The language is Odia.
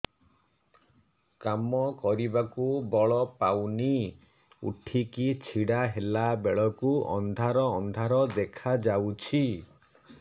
କାମ କରିବାକୁ ବଳ ପାଉନି ଉଠିକି ଛିଡା ହେଲା ବେଳକୁ ଅନ୍ଧାର ଅନ୍ଧାର ଦେଖା ଯାଉଛି